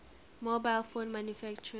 mobile phone manufacturers